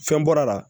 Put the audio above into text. Fɛn bɔra a la